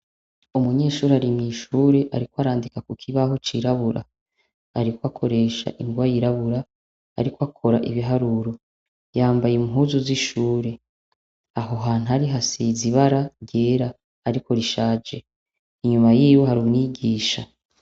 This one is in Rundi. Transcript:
Umunyeshuri ari mw'ishure ari ko arandika ku kibaho cirabura. Ariko akoresha ingwa yirabura, ariko akora ibiharuro. Yambaye impuzu z'ishure. Aho hantu ari hasize ibara ryera ariko rishaje. Inyuma yiwe hari umwigisha.